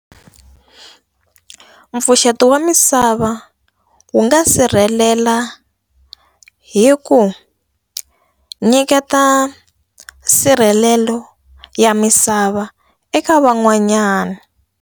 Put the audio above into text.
Mpfuxeto wa misava wu nga sirhelela hi ku nyiketa nsirhelelo ya misava eka van'wanyana.